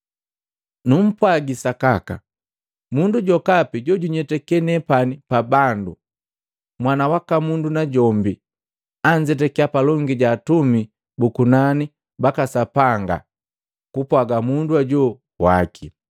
“Numpwagi sakaka, mundu jokapi jojunyetake nepani pa bandu, Mwana waka Mundu najombi anzetakiya palongi ja atumi bu kunani baka Sapanga kupwaga mundu hoju waki.